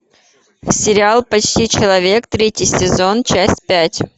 сериал почти человек третий сезон часть пять